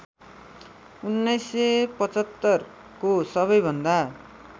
१९७५ को सबैभन्दा